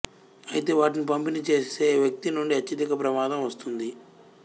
అయితే వాటిని పంపిణీ చేసే వ్యక్తి నుండి అత్యధిక ప్రమాదం వస్తుంది